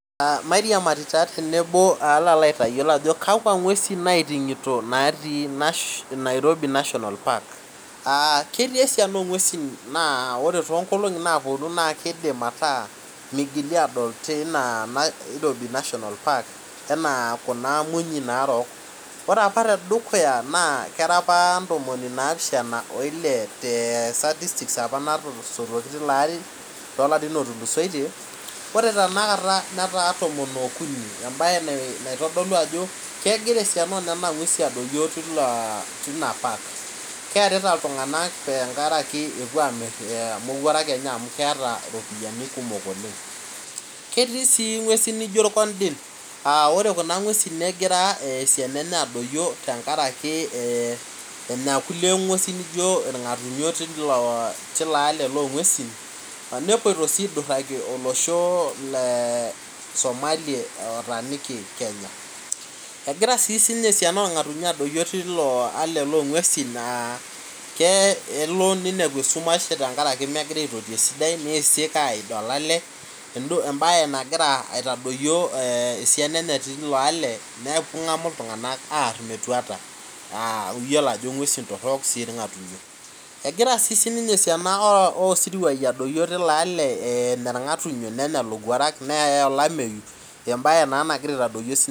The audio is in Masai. Mairiamari tenebo mashomo aliki ajo kakwa ng'wesi naitingito natii nairobi national park aa ketii esiana ongwesi na ore tonkulie katitin naponu mitokini adol enaa kuna munyu narok ore apa tedukuya era apa ntomini napishana oile te statistics apa natoshoki tilo ari tolarin otulusoitie ore tanakata netaa tomon okuni embae naitadolu ajo kegira kuna ngwesi adoyio keearita ltunganak tengaraki epoito amir mowuarak enye amu keeta ropiyani oleng ketii si ngwesi nijo irkordin ore kuna ngwesi negira adoyio tenkaraki enya ngwesi nijo irnganayio tilo ale longwesu nepuoito si aiduraki olosho le Somalia otaaniki kenya egira si esiana orngatunyo adoyio kelo ninepu esumash nisik aingua olale embae nagira aitadoyio esiana enye tilo ale nengamu ltunganak aar metua amu iyolo ajo ngwesi torok irngatunyo egira si esiana osirwai adoyio tilo ale tenkaraki enya irngatunyo nenya lowuarak neya olameyu embae na nagira aitadoyio.